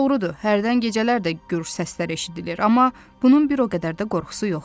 Doğrudur, hərdən gecələr də gurultu səslər eşidilir, amma bunun bir o qədər də qorxusu yoxdur.